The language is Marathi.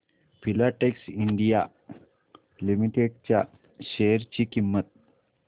फिलाटेक्स इंडिया लिमिटेड च्या शेअर ची किंमत